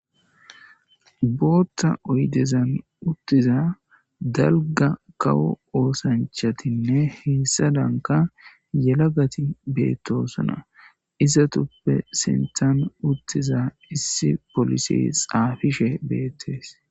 bootta oydezan uttiza dalga kawo oosanchatinne heessa danka yelagati beettosana isatuppe senthan uttiza issi polisi xaafishe beettees